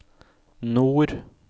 nord